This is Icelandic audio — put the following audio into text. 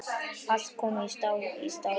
Allt komið stál í stál.